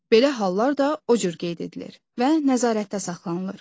belə hallar da o cür qeyd edilir və nəzarətdə saxlanılır.